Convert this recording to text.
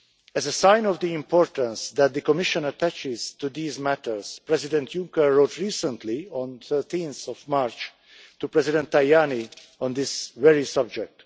As a sign of the importance that the Commission attaches to these matters, President Juncker wrote recently, on 13 March, to President Tajani on this very subject.